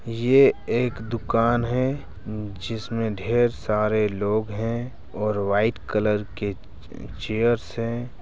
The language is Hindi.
ये एक दुकान है जिसमें ढेर सारे लोग हैं और वाइट कलर के चेयर्स हैं ।